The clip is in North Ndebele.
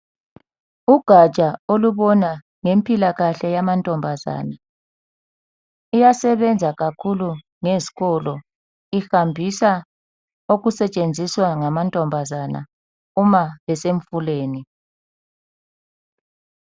Ugatsha olubona ngezempilakahle yamantombazana iyasebenza kakhulu ngezikolo ihambisa okusetshenziswa ngamantombazana uma besemfuleni.